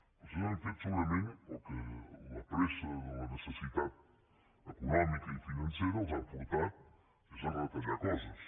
vostès han fet segurament el que la pressa de la necessitat econòmica i financera els ha portat i és a retallar coses